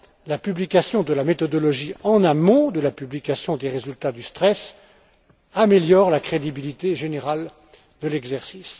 La publication de la méthodologie en amont de la publication des résultats du stress améliore la crédibilité générale de l'exercice.